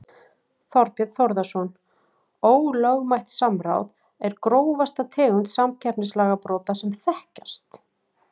Þorbjörn Þórðarson: Ólögmætt samráð er grófasta tegund samkeppnislagabrota sem þekkjast?